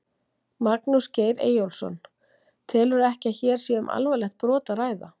Magnús Geir Eyjólfsson: Telurðu ekki að hér sé um alvarlegt brot að ræða?